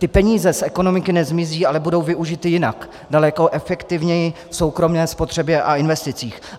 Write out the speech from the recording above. Ty peníze z ekonomiky nezmizí, ale budou využity jinak, daleko efektivněji v soukromé spotřebě a investicích.